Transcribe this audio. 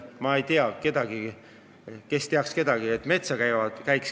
Ma ei tea kedagi, kes teaks kedagi, kes metsa väetamas käib.